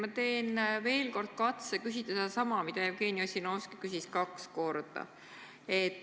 Ma teen veel kord katse küsida sedasama, mida Jevgeni Ossinovski küsis kaks korda.